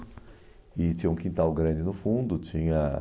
E tinha um quintal grande no fundo tinha...